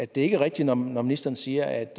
det er rigtigt når ministeren siger at